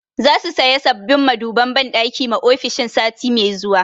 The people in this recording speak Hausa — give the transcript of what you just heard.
Za su saya sabbin maduban banɗaki ma ofishin sati mai zuwa